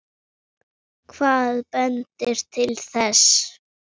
Hvað bendir til þess?